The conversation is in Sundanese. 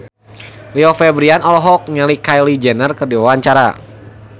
Rio Febrian olohok ningali Kylie Jenner keur diwawancara